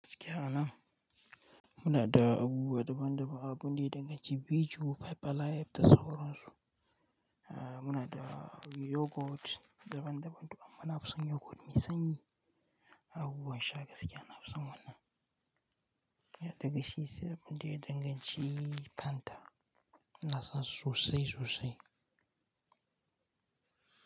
Gaskiya anan muna da abubuwa daban-daban, abun da ya danganci bi ju, five alive, da sauran su. Muna da yogurt daban daban to amma na fi son yogurt mai sanyi. Abubuwan sha gaskiya na fi son wannan. Daga shi sai abunda ya dan ganci Fanta ina son su sosai, sosai.